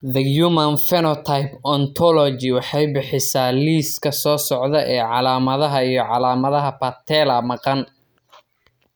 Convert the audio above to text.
The Human Phenotype Ontology waxay bixisaa liiska soo socda ee calaamadaha iyo calaamadaha patella maqan.